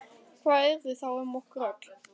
Hvað yrði þá um okkur öll?